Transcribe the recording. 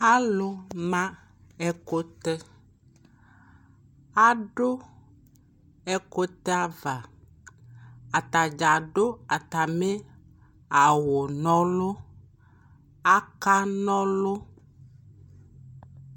alʋ ma ɛkʋtɛ adʋ ɛkʋtɛ aɣa, atagya adʋ atami awʋ nɔlʋ aka nɔlʋ